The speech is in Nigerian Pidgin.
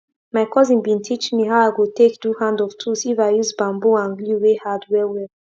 change how you dey put water for your plant every year to fit how plant root plant root dey grow deep um down for soil